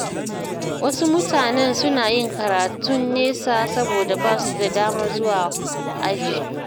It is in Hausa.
Wasu mutanen suna yin karatun nesa saboda ba su da damar zuwa aji.